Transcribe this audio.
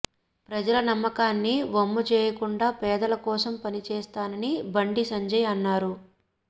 ప్రజల నమ్మకాన్ని వమ్ము చేయకుండా పేదల కోసం పని చేస్తానని బండి సంజయ్ అన్నారు